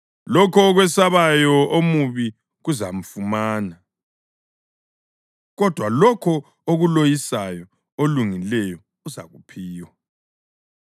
Lokho akwesabayo omubi kuzamfumana; kodwa lokho akuloyisayo olungileyo uzakuphiwa.